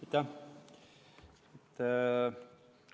Aitäh!